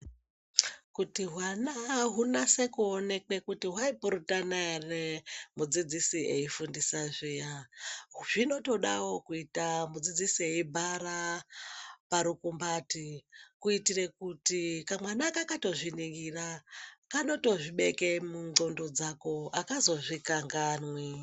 Kuti hwana hunase kuonekwe kuti hwaipurutana ere mudzidzisi eifundisa zviya zvinotoda kuita mudzidzisi eibhara parukumbati kuitirewo kuti kamwana kakatozviningira kanotozvibeke mundxondo dzako, akazozvikanganwi.